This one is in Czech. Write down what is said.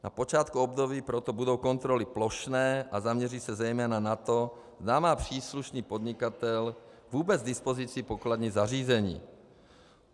Na počátku období proto budou kontroly plošné a zaměří se zejména na to, zda má příslušný podnikatel vůbec k dispozici pokladní zařízení.